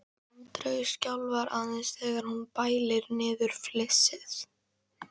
Andreu skjálfa aðeins þegar hún bælir niður flissið.